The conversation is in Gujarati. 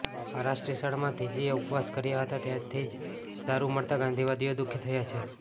આ રાષ્ટ્રીય શાળામાં ધીજીએ ઉપવાસ કર્યા હતા ત્યાંથી જ દારૂ મળતા ગાંધીવાદીઓ દુઃખી થયા છે